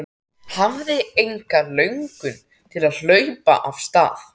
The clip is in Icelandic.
Hafði enga löngun til að hlaupa af stað.